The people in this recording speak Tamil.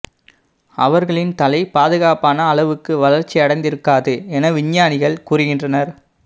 அவர்களின் தலை பாதுகாப்பான அளவுக்கு வளர்ச்சி அடைந்திருக்காது என விஞ்ஞானிகள் கூறுகின்றனர்